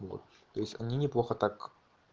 вот то есть они неплохо так